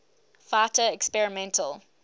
fighter experimental